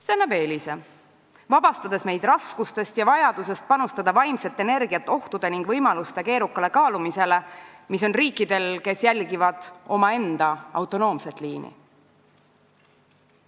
See annab eelise, vabastades meid raskustest ja vajadusest panustada vaimset energiat ohtude ning võimaluste keerukale kaalumisele, mis on riikidel, kes jälgivad omaenda autonoomset liini.